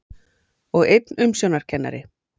Og einn umsjónarkennari.